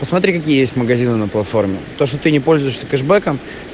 посмотри какие есть магазины на платформе то что ты не пользуешься кэшбэком